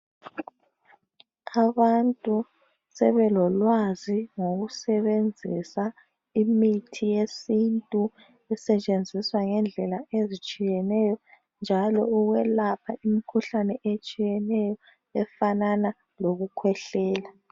Abantu sebelolwazi ngokusebenzisa imithi yesintu esetshenziswa ngendlela ezitshiyeneyo njalo ukwelapha imikhuhlane etshiyeneyo ofanana lokukhwehlela.